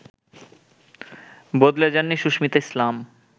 বদলে যাননি সুস্মিতা ইসলাম